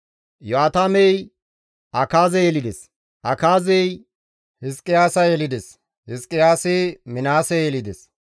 Iyo7aatamey Akaaze yelides; Akaazey Hizqiyaasa yelides; Hizqiyaasi Minaase yelides;